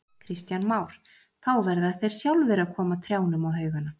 Kristján Már: Þá verða þeir sjálfir að koma trjánum á haugana?